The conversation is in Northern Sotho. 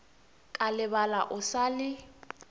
ka lebala o sa le